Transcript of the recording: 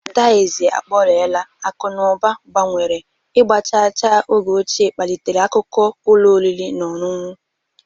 Dizi akpọrela, akụ na ụba gbanwere, ịgba chaa chaa oge ochie kpalitere akụkọ ụlọ oriri na ọṅụṅụ.